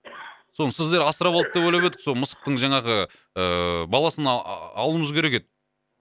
соны сіздер асырап алды деп ойлап едік сол мысықтың жаңағы ыыы баласын а алуымыз керек еді